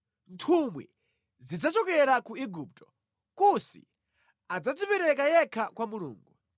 Nthumwi zidzachokera ku Igupto; Kusi adzadzipereka yekha kwa Mulungu.